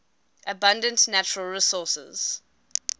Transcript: abundant natural resources